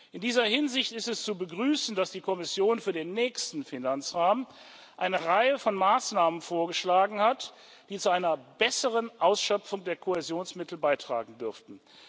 In dieser Hinsicht ist es zu begrüßen, dass die Kommission für den nächsten Finanzrahmen eine Reihe von Maßnahmen vorgeschlagen hat, die zu einer besseren Ausschöpfung der Kohäsionsmittel beitragen dürften.